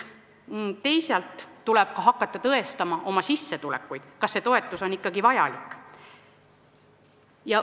Teisalt tuleb hakata tõestama oma sissetulekuid, et näidata, kas see toetus on ikkagi vajalik.